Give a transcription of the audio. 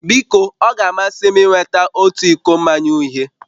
Biko ọ ga-amasị m ịnweta otu iko mmanya uhie